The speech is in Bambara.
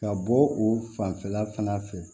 Ka bɔ o fanfɛla fana fɛ